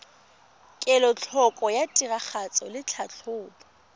kelotlhoko ya tiragatso le tlhatlhobo